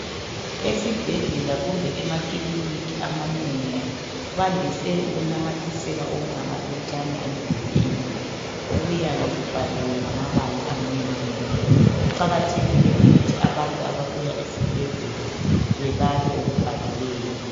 Esibhedlela kumbe emakiliniki amanengi bandise ukunamathisela okungamaphetshana emdulini okuyabe kubhaliwe ngamabala amnyama. Kuqakathekile ukuthi abantu ababuya esibhedlela bebale okubhaliweyo